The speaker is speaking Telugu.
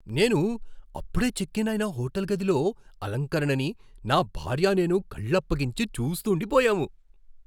మేము అప్పుడే చెక్ ఇన్ అయిన హోటల్ గదిలో అలంకరణని, నా భార్య నేను, కళ్ళప్పగించి చూస్తూండిపోయాము.